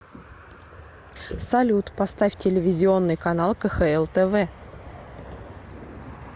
салют поставь телевизионный канал кхл тв